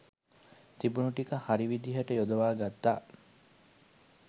තිබුණු ටික හරි විදිහට යොදවා ගත්තා.